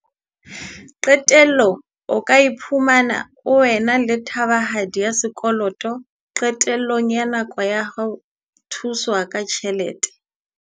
Qetellong o ka iphumana o ena le thabahadi ya sekoloto qetellong ya nako ya ho thuswa ka ditjhelete.